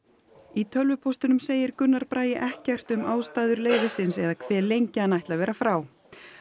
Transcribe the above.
í tölvupóstinum segir Gunnar Bragi ekkert um ástæður leyfisins eða hve lengi hann ætli að vera frá